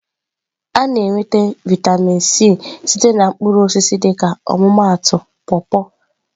A na-enweta vịatamin C site na mkpụrụ osisi dịka ọmụmaatụ paw-paw.